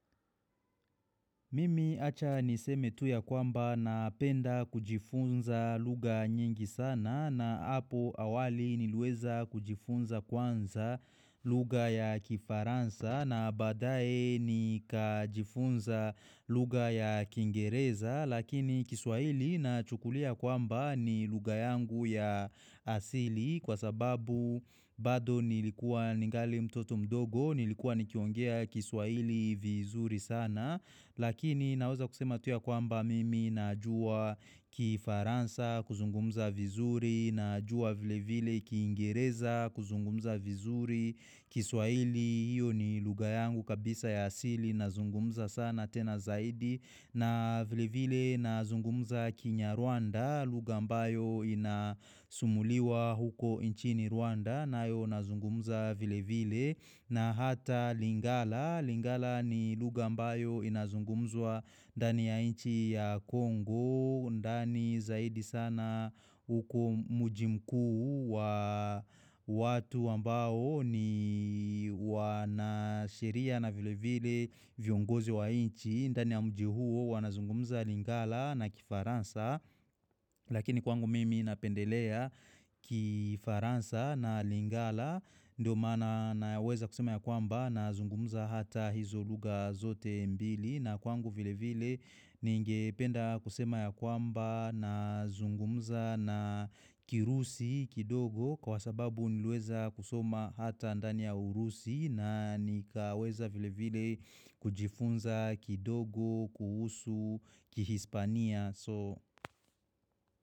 Mimi acha niseme tu ya kwamba napenda kujifunza lugha nyingi sana na hapo awali niliweza kujifunza kwanza lugha ya kifaransa na baadaye nikajifunza lugha ya kiingereza lakini kiswahili nachukulia kwamba ni lugha yangu ya asili kwa sababu bado nilikuwa ningali mtoto mdogo nilikuwa nikiongea kiswahili vizuri sana Lakini naweza kusema tu ya kwamba mimi najua kifaransa kuzungumza vizuri najua vile vile kiingereza kuzungumza vizuri kiswahili hiyo ni lugha yangu kabisa ya asili nazungumza sana tena zaidi na vile vile nazungumza kinyarwanda lugha ambayo inasumuliwa huko nchini Rwanda nayo nazungumza vile vile na hata Lingala. Lingala ni lugha ambayo inazungumzwa ndani ya nchi ya Kongo ndani zaidi sana uko mji mkuu wa watu ambao ni wanasheria na vile vile viongozi wa nchi ndani ya mji huo wanazungumza Lingala na kifaransa Lakini kwangu mimi napendelea kifaransa na Lingala ndio maana naweza kusema ya kwamba nazungumza hata hizo lugha zote mbili na kwangu vile vile ningependa kusema ya kwamba nazungumza na Kirusi kidogo kwa sababu niliweza kusoma hata ndani ya Urusi na nikaweza vile vile kujifunza kidogo kuhusu Kihispania.